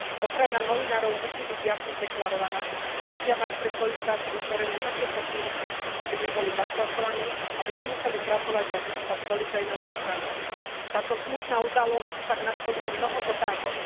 Ochrana novinárov musí byť jasne deklarovaná, musia mať pre svoju prácu vytvorené také podmienky, aby neboli zastrašovaní, aby nemuseli pracovať a žiť pod policajnou ochranou. Táto smutná udalosť však nastoľuje mnoho otázok.